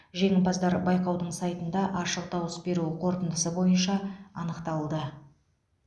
жеңімпаздар байқаудың сайтында ашық дауыс беру қорытындысы бойынша анықталды